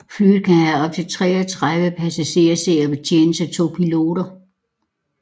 Flyet kan have op til 33 passagersæder og betjenes af 2 piloter